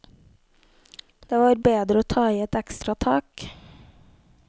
Det var bedre å ta i et ekstra tak.